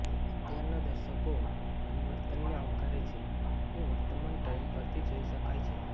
અત્યારના દર્શકો પરિવર્તનને આવકારે છે એ વર્તમાન ટ્રેન્ડ પરથી જોઈ શકાય છે